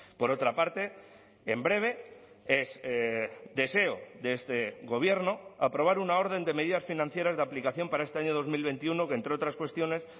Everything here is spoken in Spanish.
por otra parte en breve es deseo de este gobierno aprobar una orden de medidas financieras de aplicación para este año dos mil veintiuno que entre otras cuestiones